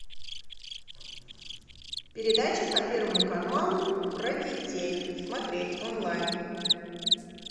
передача по первому каналу про детей смотреть онлайн